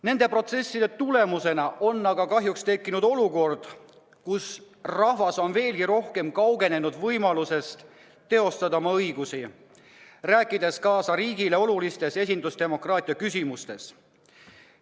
Nende mängude tulemusena on aga kahjuks tekkinud olukord, kus rahvas on veelgi rohkem kaugenenud võimalusest teostada oma õigusi, rääkides kaasa riigile olulistes esindusdemokraatia küsimustes.